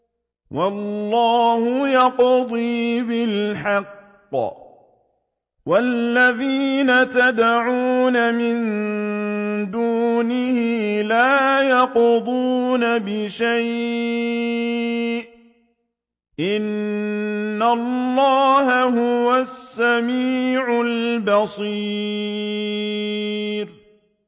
وَاللَّهُ يَقْضِي بِالْحَقِّ ۖ وَالَّذِينَ يَدْعُونَ مِن دُونِهِ لَا يَقْضُونَ بِشَيْءٍ ۗ إِنَّ اللَّهَ هُوَ السَّمِيعُ الْبَصِيرُ